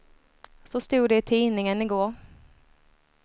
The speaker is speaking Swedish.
Så stod det i tidningen i går.